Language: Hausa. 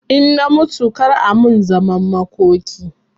In na mutu kar a min zaman makoki